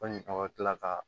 kila ka